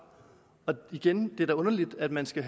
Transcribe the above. igen det er da underligt at man skal